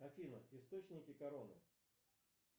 афина источники короны